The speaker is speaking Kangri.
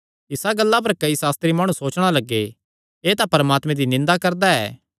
इसा गल्ला पर कई सास्त्री माणु सोचणा लग्गे एह़ तां परमात्मे दी निंदा करदा ऐ